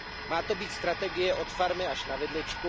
Má to být strategie od farmy až na vidličku.